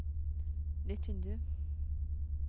nytt vindu